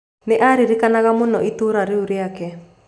Nĩ aaririkanaga mũno itũũra rĩu rĩake.